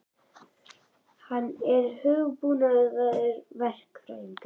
Hann er hugbúnaðarverkfræðingur.